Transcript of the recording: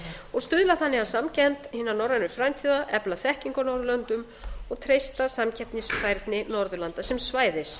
og stuðla þannig að samkennd hinna norrænu frændþjóða efla þekkingu á norðurlöndum og treysta samkeppnisfærni norðurlanda sem svæðis